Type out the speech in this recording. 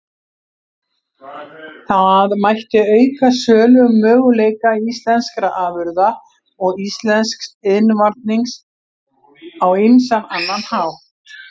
Það mætti auka sölumöguleika íslenskra afurða og íslensks iðnvarnings á ýmsan annan hátt.